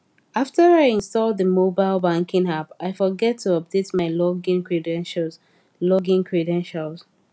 after i install the mobile banking app i forget to update my login credentials login credentials